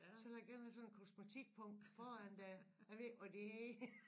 Så vil jeg gerne have sådan en kosmetikpung foran dér jeg ved ikke hvad de hedder